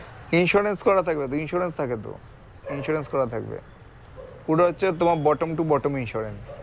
insurance করা থাকবে তো insurance থাকে তো insurance করা থাকবে পুরো হচ্ছে তোমার bottom to bottom insurance